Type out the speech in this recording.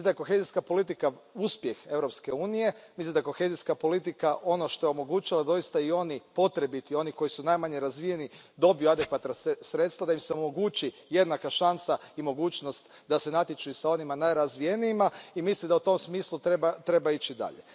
Mislim da je kohezijska politika uspjeh Europske unije, mislim da je kohezijska politika ono što je omogućilo da doista i oni potrebiti, oni koji su najmanje razvijeni, dobiju adekvatna sredstva, da im se omogući jednaka šansa i mogućnost da se natječu i sa onima najrazvijenijima i mislim da u tom smislu treba ići dalje.